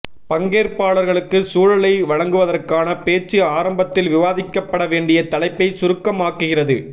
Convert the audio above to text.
பங்கேற்பாளர்களுக்கு சூழலை வழங்குவதற்கான பேச்சு ஆரம்பத்தில் விவாதிக்கப்பட வேண்டிய தலைப்பை சுருக்கமாக்குகிறது